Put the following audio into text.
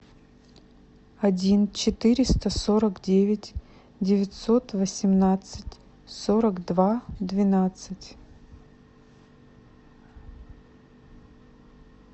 один четыреста сорок девять девятьсот восемнадцать сорок два двенадцать